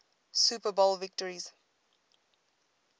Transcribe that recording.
super bowl victories